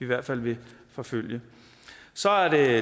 hvert fald vil forfølge så er